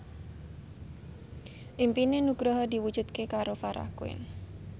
impine Nugroho diwujudke karo Farah Quinn